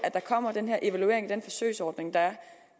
der kommer en evaluering af den forsøgsordning der er